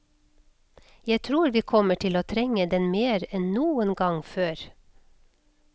Jeg tror vi kommer til å trenge den mer enn noen gang før.